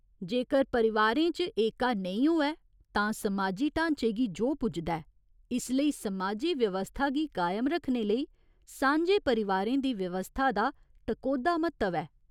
जेकर परिवारें च एका नेईं होऐ तां समाजी ढांचे गी जोह् पुजदा ऐ, इसलेई समाजी व्यवस्था गी कायम रक्खने लेई सांझे परिवारें दी व्यवस्था दा टकोह्दा म्हत्तव ऐ।